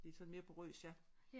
Det er sådan mere porøst ja